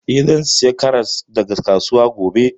Eh, zan saya karas daga kasuwa gobe